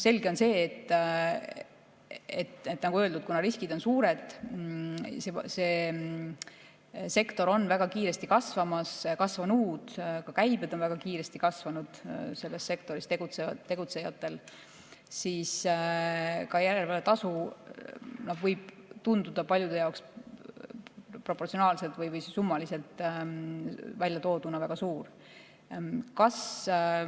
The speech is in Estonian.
Selge on see, nagu öeldud, kuna riskid on suured, sektor on väga kiiresti kasvamas ja kasvanud, käibed on väga kiiresti kasvanud selles sektoris tegutsejatel, siis ka järelevalvetasu võib tunduda paljude jaoks proportsionaalselt või summaliselt väljatooduna väga suur.